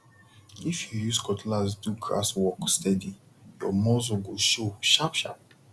if you use cutlass do grass work steady your muscle go show sharpsharp